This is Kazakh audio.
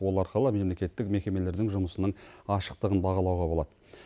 ол арқылы мемлекеттік мекемелердің жұмысының ашықтығын бағалауға болады